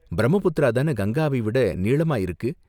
பிரம்மபுத்திரா தான கங்காவை விட நீளமா இருக்கு.